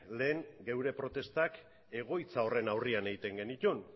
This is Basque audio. lehen guk gure protestak egoitza horren aurrean egiten genituen